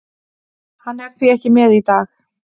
Hann er því ekki með í dag.